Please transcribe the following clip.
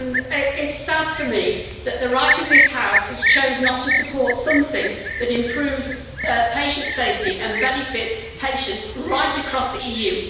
It is sad for me that the Right of this House has chosen not to support something that improves patient safety and benefits patients right across the EU.